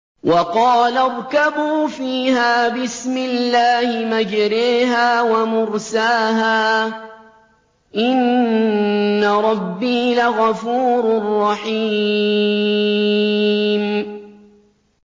۞ وَقَالَ ارْكَبُوا فِيهَا بِسْمِ اللَّهِ مَجْرَاهَا وَمُرْسَاهَا ۚ إِنَّ رَبِّي لَغَفُورٌ رَّحِيمٌ